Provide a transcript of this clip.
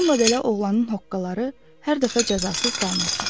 Bununla belə oğlanın hoqqaları hər dəfə cəzasız qalmırdı.